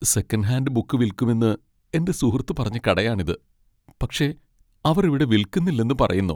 Second hand book വിൽക്കുമെന്ന് എന്റെ സുഹൃത്ത് പറഞ്ഞ കടയാണിത്, പക്ഷേ അവർ ഇവിടെ വിൽക്കുന്നില്ലെന്ന് പറയുന്നു.